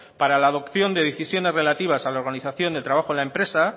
para la adopción de decisiones relativas a la organización del trabajo en la empresa